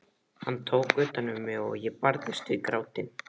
Hann tók utan um mig og ég barðist við grátinn.